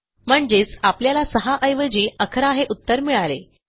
म्हणजेच आपल्याला 6 ऐवजी 11 हे उत्तर मिळाले